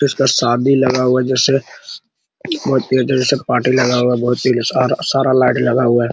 किस का शादी लगा हुआ है जैसे बहुत ही अच्छे से पार्टी लगा हुआ है बहुत ही सारा लाइट लगा हुआ है |